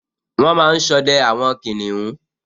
Wọ́n máa n sọdẹ àwọn kìnìún